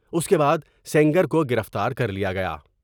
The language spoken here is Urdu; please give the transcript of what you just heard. اس کے بعد سنگر کو گرفتار کر لیا گیا ۔